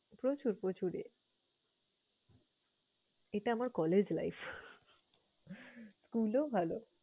প্রচুর প্রচুর এটা আমার college life, school ও ভালো।